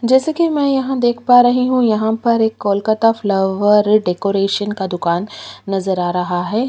जैसे कि मैं यहाँ देख पा रही हूँ यहाँ पर एक कोलकाता फ्लावर डेकोरेशन का दुकान नज़र आ रहा है।